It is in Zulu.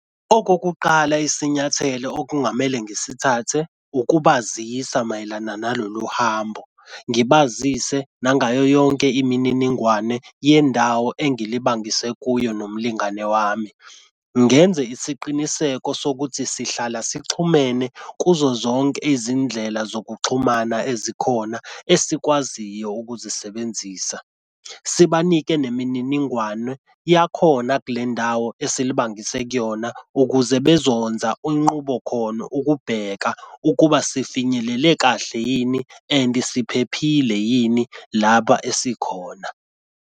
Okokuqala isinyathelo okungamele ngisithathe ukubazisa mayelana nalolu hambo, ngibazise nangayoyonke imininingwane yendawo engilibangise kuyo nomlingane wami. Ngenze isiqiniseko sokuthi sihlala sixhumene kuzo zonke izindlela zokuxhumana ezikhona esikwaziyo ukuzisebenzisa. Sibanike nemininingwane yakhona kule ndawo esilibangise kuyona ukuze bezonza inqubo khono ukubheka ukuba sifinyelele kahle yini endi siphephile yini lapha esikhona.